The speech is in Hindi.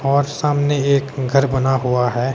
और सामने एक घर बना हुआ है।